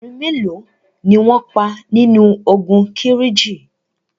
Obìnrin mélo ni wọn pa nínu ogun Kírìjí?